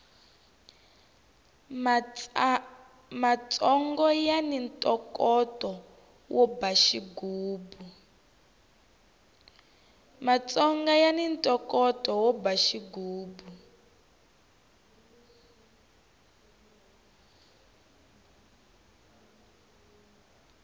matsongo yani ntokoto wo ba xigubu